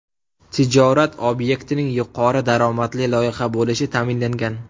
Tijorat obyektining yuqori daromadli loyiha bo‘lishi ta’minlangan.